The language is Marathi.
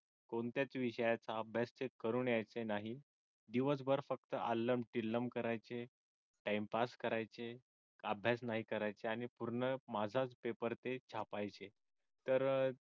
कोणत्याच विषयाचा अभ्यास ते करून यायचे नाहीत दिवसभर फक्त अल्लम तिल्लम करायचे time pass करायचे अभ्यास नाही करायचे आणिपूर्ण माझाच पेपर ते छापायचे तर अह